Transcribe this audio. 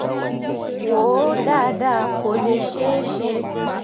wò ó dáadáa kó lè ṣeé ṣe